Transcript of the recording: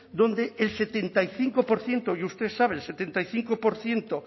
donde el setenta y cinco por ciento y usted sabe el setenta y cinco por ciento